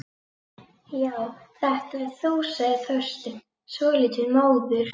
Já, þetta ert þú sagði Þorsteinn, svolítið móður.